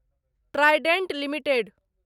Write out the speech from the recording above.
Trident limited